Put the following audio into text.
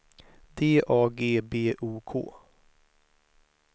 D A G B O K